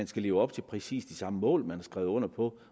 skal leve op til præcis de samme mål man har skrevet under på